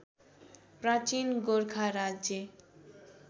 प्राचीन गोरखा राज्य